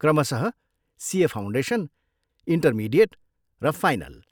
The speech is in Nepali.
क्रमशः सिए फाउन्डेसन, इन्टरमिडिएट र फाइनल।